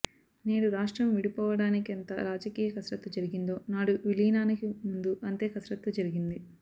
నేడు రాష్ట్రం విడిపోవడానికెంత రాజకీయ కసరత్తు జరిగిందో నాడు విలీనానికి ముందూ అంతే కసరత్తు జరిగింది